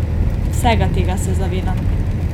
Vsega tega se zavedam.